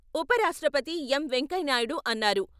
ఉపరాష్ట్రపతి ఎమ్ వెంకయ్యనాయుడు అన్నారు.